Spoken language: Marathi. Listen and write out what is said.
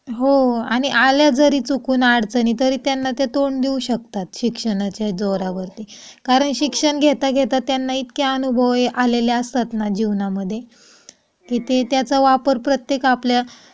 हो आणि आल्या जरी चुकून अडचणी तरी त्यांना ते तोंड शिक्षणाच्या जोरावरती कारण शिक्षण घेता घेता त्यांना इतके अनुभव आलेले असतात जीवनामध्ये कि ते त्याचा वापर प्रत्येक